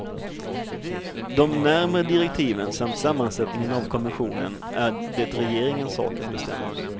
De närmare direktiven samt sammansättningen av kommissionen är det regeringens sak att bestämma.